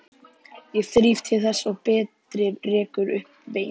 Ég þríf til þess og Berti rekur upp vein.